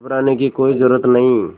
घबराने की कोई ज़रूरत नहीं